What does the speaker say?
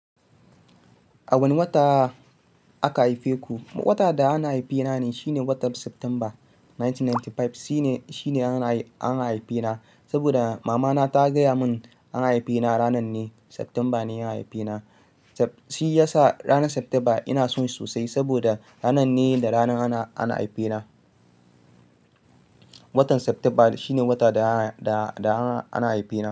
A wane wata aka haife ku? Wata da ana haife na ne, shine watan septemba 1995. Shi ne, shi ne an haife na. Saboda mamana ta gaya mun an haife na ranan ne, Septemba ne ya haife na. Shi ya sa ranan Septemba ina son sosai saboda ranan ne da ranan ana, an haife na. Watan Saptemba shine wata da ana, da ana haife na.